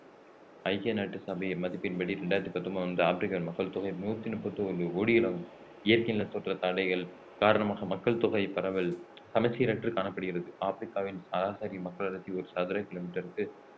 ஐக்கிய நாட்டு சபையின் மதிப்பின் படி இரண்டாயிரத்து பத்தொன்பதாம் ஆண்டு ஆப்ரிக்காவின் மக்கள் தொகை நூத்தி முப்பத்தி ஒண்ணு கோடிகளாகும் இயற்கை நிலத்தோற்ற தடைகள் காரணமாக மக்கள் தொகை பரவல் சமச்சீர் அற்று காணப்படுகிறது ஆப்பிரிக்காவின் சராசரி மக்களடர்த்தி ஒரு சதுர கிலோமீட்டருக்கு